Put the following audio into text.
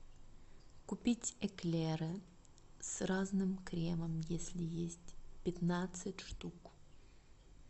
купить эклеры с разным кремом если есть пятнадцать штук